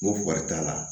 N ko wari t'a la